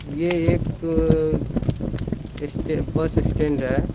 यह एक bus stand है।